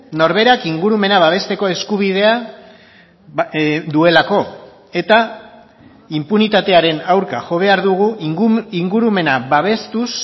norberak ingurumena babesteko eskubidea duelako eta inpunitatearen aurka jo behar dugu ingurumena babestuz